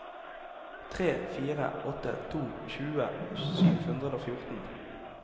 tre fire åtte to tjue sju hundre og fjorten